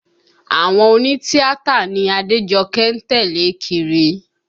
Àwọn òní tíátà ni Adéjọkẹ́ ń tẹ̀lé kiri